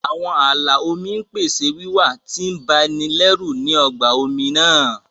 Àwọn ààlà omi ń pèsè wíwà tí ń ba ni lẹ́rù ní ọgbà omi náà